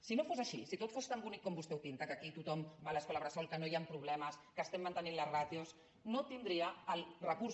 si no fos així si tot fos tan bonic com vostè ho pinta que aquí tothom va a l’escola bressol que no hi han problemes que estem mantenint les ràtios no tindria el recurs